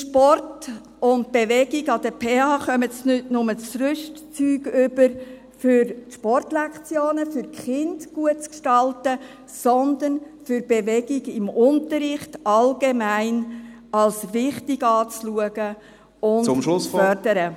In Sport und Bewegung an der PH erhalten sie nicht nur das Rüstzeug, um die Sportlektionen für die Kinder gut zu gestalten, sondern auch, um Bewegung im Unterricht allgemein als wichtig anzuschauen … und zu fördern.